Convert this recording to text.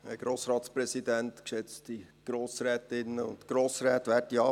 Ich gebe das Wort Regierungsrat Müller.